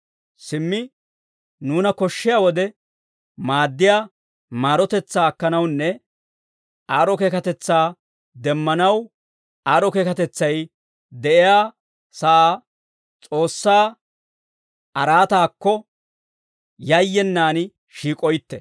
Simmi nuuna koshshiyaa wode maaddiyaa maarotetsaa akkanawunne aad'd'o keekatetsaa demmanaw, aad'd'o keekatetsay de'iyaa sa'aa S'oossaa araataakko, yayyenaan shiik'oytte.